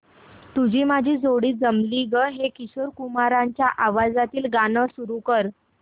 तुझी माझी जोडी जमली गं हे किशोर कुमारांच्या आवाजातील गाणं सुरू कर